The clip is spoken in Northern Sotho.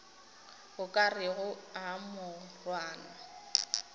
o ka rego a morwana